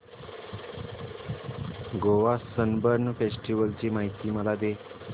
Goa Sunburn festival ची माहिती मला दे